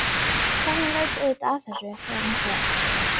Konan veit auðvitað af þessu þegar hún fer.